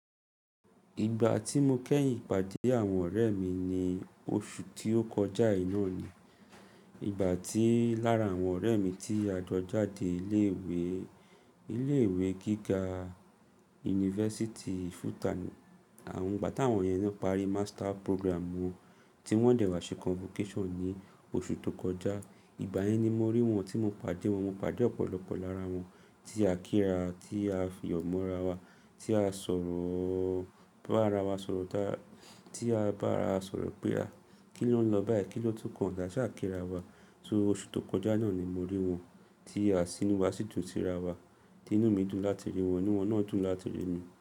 Ìgbà tí mo kẹ́yìn pàdé àwọn ọ̀rẹ́ mi ni oṣù tí ó kọjá yìí náà ni. Ìgbà tí lára àwọn ọ̀rẹ́ mi tí ajọ jáde ilé ìwé, ilé ìwé gíga University of FUTA ni. Àwọn ìgbà tí àwọn yẹn náà parí master program wọn tí wọ́n dẹ̀ wá ṣe convocation ní oṣù tó kọjá. Ìgbà yẹn ni mo rí wọn tí mo pàdé wọn. Mo pàdé ọ̀pọ̀lọpọ̀ lára wọn tí a kíra, tí a fìyo mọ́ra wa, tí a sọ̀rọ̀ bá ara wa sọ̀rọ̀ dá, tí a bá ara sọ̀rọ̀ pé à kí ló ń lọ báyìí? Kí ló tún kàn? Dá asa kíra wa. Só oṣù tó kọjá náà ni mo rí wọn tí a sì i wá sì tun tirawa, tí inú mi dùn láti rí wọn, inú wọn náà dùn láti rí mi.